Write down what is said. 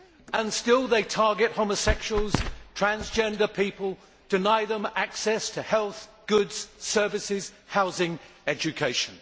And still they target homosexuals and transgender people, and deny them access to health, goods, services, housing, education.